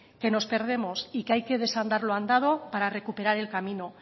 que nos perdemos y que hay que desandar lo andado para recuperar el camino